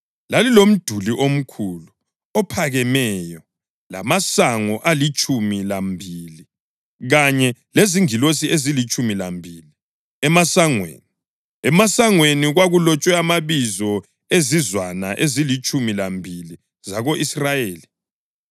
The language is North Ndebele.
Lalilomduli omkhulu, ophakemeyo lamasango alitshumi lambili kanye lezingilosi ezilitshumi lambili emasangweni. Emasangweni kwakulotshwe amabizo ezizwana ezilitshumi lambili zako-Israyeli.